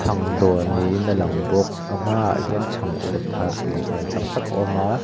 dawr niin a langbawk a hmaah hian chhang ur thar tuihmel tak tak a awm a--